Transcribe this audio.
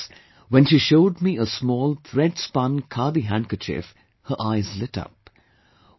Afterwards when she showed me a small threadspun khadi handkerchief, her eyes lit up